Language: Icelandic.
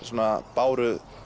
báru